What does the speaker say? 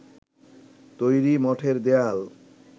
তৈরি মঠের দেয়াল